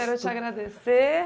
Quero te agradecer.